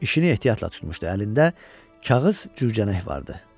İşini ehtiyatla tutmuşdu əlində, kağız cücənək vardı.